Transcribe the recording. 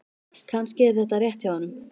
Kannski er þetta rétt hjá honum.